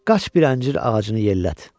Qaş bir əncir ağacını yellət.